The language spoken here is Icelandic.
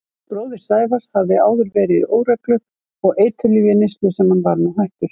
Bróðir Sævars hafði áður verið í óreglu og eiturlyfjaneyslu sem hann var nú hættur.